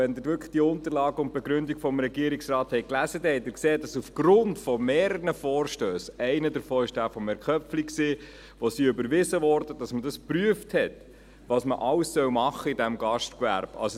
Wenn Sie die Unterlagen und die Begründung des Regierungsrates wirklich gelesen haben, haben Sie gesehen, dass man aufgrund von mehreren überwiesenen Vorstössen – einer davon war jener von Herrn Köpfli – geprüft hat, was man alles in diesem Gastgewerbe tun soll.